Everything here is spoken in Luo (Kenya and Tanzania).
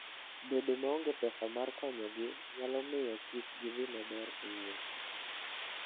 Bedo maonge pesa mar konyogi nyalo miyo kik gidhi maber e wuoth.